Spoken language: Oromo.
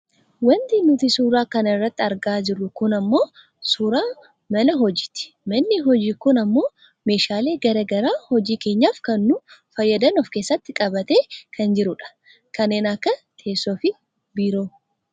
Wanti nuti suuraa kana irratti argaa jirru kun ammoo suuraa mana hojiiti. Manni hojii kun ammoo meeshaalee gara garaa hojii keenyaaf kan nu fayyadan of keessatti qabatee kan jirudha. Kanneen akka teessoofi kan biroo.